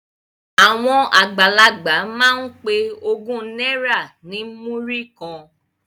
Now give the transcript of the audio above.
Àwọn àgbàlagbà máa ń pe ogún náírà ní múrí kan